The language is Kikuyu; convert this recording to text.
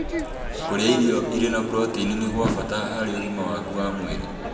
Kũrĩa irio irĩ na proteini nĩ gwa bata harĩ ũgima waku wa mwĩrĩ